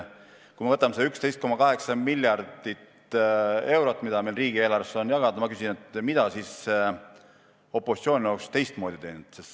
Kui me võtame selle 11,8 miljardit eurot, mis meil riigieelarvest jagada on, ma küsin: mida siis opositsioon oleks teistmoodi teinud?